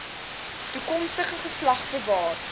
toekomstige geslag bewaar